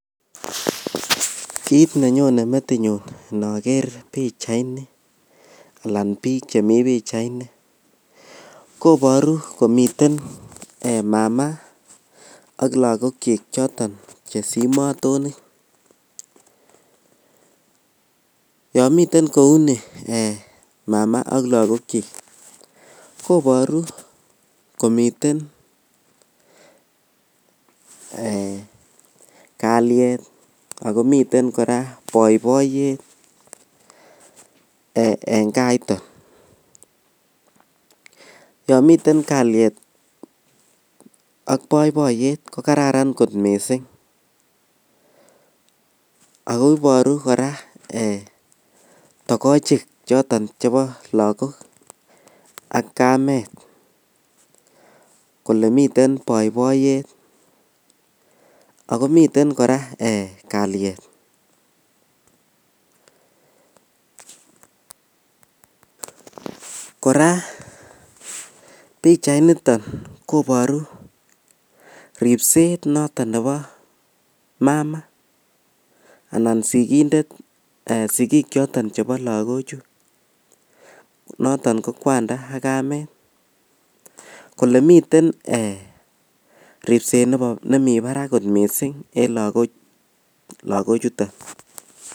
Kiit nenyonen metinyun inaker pichaini anan piiik chemi pichaini kopatru komiten mama ak lagokchik choton chesimatoni. Yan miten kou ni mama ak la lagokchik kimiten kalyet ako miten poipoyet en kaaitoo. Yan miten kalyet ak poipoiyet ko kararan kot missing'. Ako iparu kora togochik choton chepo lagok ak kamet kole miten poipoyet ako miten kor kalyet. Kora pichainiton koparu ripset noton nepo mama anan sikindet, sikiik choton chepo lagochu noton ko kwanda ak kamet kole miten ripset nemi parak kot missing' en lagochuton.